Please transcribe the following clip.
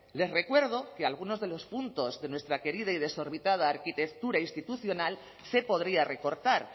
les recuerdo que algunos de los puntos de nuestra querida y desorbitada arquitectura institucional se podría recortar